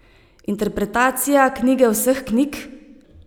Interpretacija knjige vseh knjig?